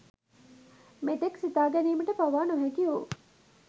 මෙතෙක් සිතාගැනීමට පවා නොහැකිවූ